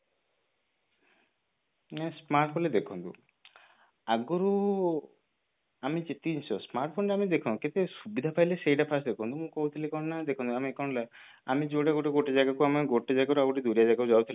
ନା smartphone ଦେଖନ୍ତୁ ଆଗରୁ ଆମେ ଯେତିକି ଜିନିଷ smartphone ରେ ଆମେ ଦେଖନ୍ତୁ କେତେ ସୁବିଧା ପାଇଲେ ସେଇଟା first ଦେଖନ୍ତୁ ମୁଁ କହୁଥିଲି କଣ ନା ଦେଖନ୍ତୁ ଆମେ କଣ ନା ଆମେ ଯୋଉଟା ଗୋଟେ ଗୋଟେ ଜାଗାକୁ ଗୋଟେ ଜାଗାରୁ ଆଉ ଗୋଟେ ଯୋଉ ଜାଗାକୁ ଯାଉଥିଲେ